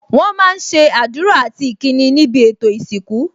Wọn máa ń ṣe àdúrà àti ìkíni níbi ètò ìsìnkú